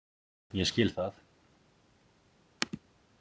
Ég skil það.